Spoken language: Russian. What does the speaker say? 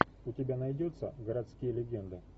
у тебя найдется городские легенды